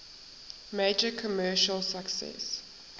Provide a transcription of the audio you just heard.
major commercial success